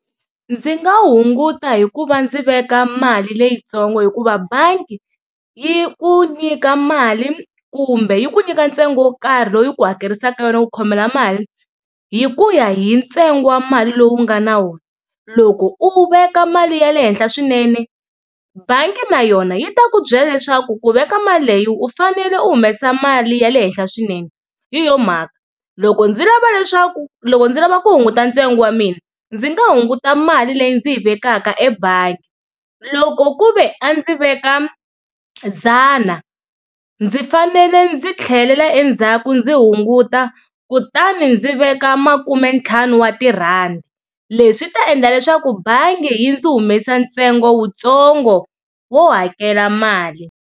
Ndzi nga hunguta hikuva ndzi veka mali leyitsongo hikuva bangi yi ku nyika mali kumbe yi ku nyika ntsengo wo karhi loyi ku hakerisaka yona ku khomela mali hi ku ya hi ntsengo wa mali lowu nga na wona, loko u veka mali ya le henhla swinene bangi na yona yi ta ku byela leswaku ku veka mali leyi u fanele u humesa mali ya le henhla swinene hi yona mhaka loko ndzi lava leswaku loko ndzi lava ku hunguta ntsengo wa mina ndzi nga hunguta mali leyi ndzi yi vekaka ebangi loko ku ve a ndzi veka dzana ndzi fanele ndzi tlhelela endzhaku ndzi hunguta kutani ndzi veka makumentlhanu wa tirhandi leswi ta endla leswaku bangi yi ndzi humesa ntsengo wutsongo wo hakela mali.